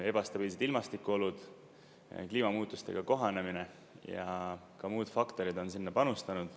Ebastabiilsed ilmastikuolud, kliimamuutustega kohanemine ja ka muud faktorid on sinna panustanud.